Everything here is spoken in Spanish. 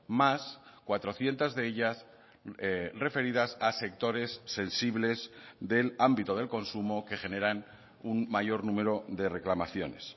más cuatrocientos de ellas referidas a sectores sensibles del ámbito del consumo que generan un mayor número de reclamaciones